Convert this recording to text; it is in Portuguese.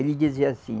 Ele dizia assim,